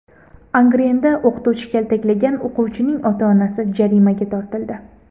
Angrenda o‘qituvchi kaltaklagan o‘quvchining ota-onasi jarimaga tortildi.